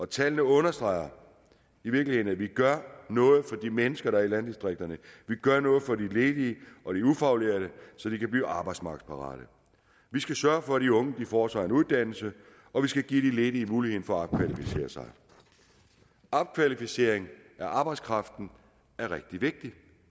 tallene understreger i virkeligheden at vi gør noget for de mennesker der er i landdistrikterne vi gør noget for de ledige og de ufaglærte så de kan blive arbejdsmarkedsparate vi skal sørge for at de unge får sig en uddannelse og vi skal give de ledige muligheden for at opkvalificere sig opkvalificering af arbejdskraften er rigtig vigtig